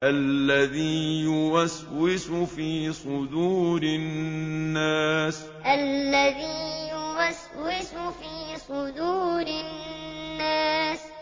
الَّذِي يُوَسْوِسُ فِي صُدُورِ النَّاسِ الَّذِي يُوَسْوِسُ فِي صُدُورِ النَّاسِ